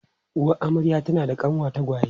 Uwar amarya tana da kanwa tagwaye.